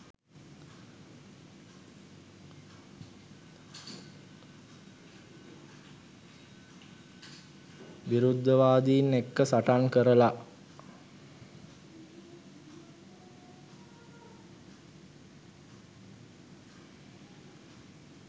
විරුද්ධවාදින් එක්ක සටන් කරලා